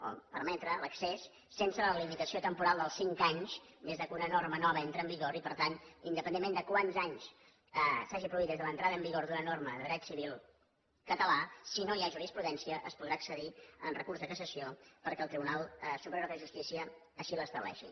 o permetre l’accés sense la limitació temporal dels cinc anys des que una norma nova entra en vigor i per tant independentment de quants anys s’hagin produït des de l’entrada en vigor d’una norma de dret civil català si no hi ha jurisprudència es podrà accedir en recurs de cassació perquè el tribunal superior de justícia així l’estableixi